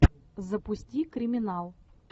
запусти криминал